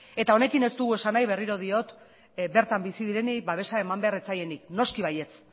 eta honekin ez dugu esan nahi berriro diot bertan bizi direnik babesa eman behar ez zaienik noski baiez